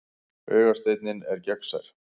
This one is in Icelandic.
Augasteinninn er gegnsær.